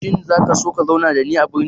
Shin za ka so ka zauna tare da ni a birni?